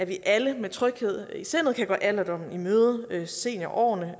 vi alle med tryghed i sindet kan gå alderdommen i møde altså seniorårene